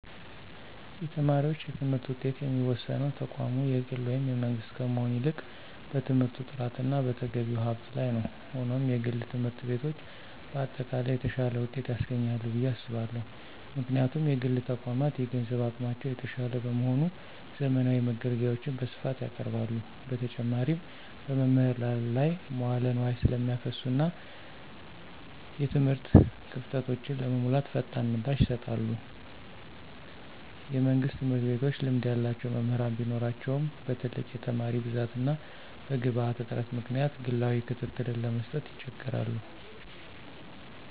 የተማሪዎች የትምህርት ውጤት የሚወሰነው ተቋሙ የግል ወይም የመንግሥት ከመሆን ይልቅ በትምህርቱ ጥራትና በተገቢው ሀብት ላይ ነው። ሆኖም፣ የግል ትምህርት ቤቶች በአጠቃላይ የተሻለ ውጤት ያስገኛሉ ብዬ አስባለሁ። ምክንያቱም: የግል ተቋማት የገንዘብ አቅማቸው የተሻለ በመሆኑ፣ ዘመናዊ መገልገያዎችን በስፋት ያቀርባሉ። በተጨማሪም፣ በመምህራን ላይ መዋለ ንዋይ ስለሚያፈሱና እና የትምህርት ክፍተቶችን ለመሙላት ፈጣን ምላሽ ይሰጣሉ። የመንግሥት ትምህርት ቤቶች ልምድ ያላቸው መምህራን ቢኖራቸውም፣ በትልቅ የተማሪ ብዛትና በግብዓት እጥረት ምክንያት ግላዊ ክትትልን ለመስጠት ይቸገራሉ።